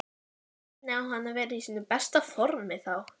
Hvernig á hann að vera í sínu besta formi þá?